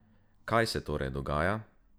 Kaj se torej dogaja?